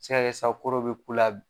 A bɛ se ka kɛ sisan ko dɔ bɛ k'ula.